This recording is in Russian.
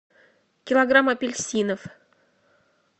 килограмм апельсинов